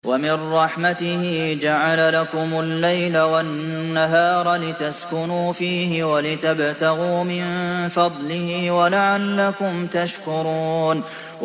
وَمِن رَّحْمَتِهِ جَعَلَ لَكُمُ اللَّيْلَ وَالنَّهَارَ لِتَسْكُنُوا فِيهِ وَلِتَبْتَغُوا مِن فَضْلِهِ وَلَعَلَّكُمْ تَشْكُرُونَ